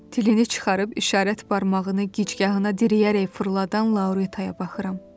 Dilini çıxarıb işarət barmağını gicgahına dirəyərək fırladan Lauritaya baxıram.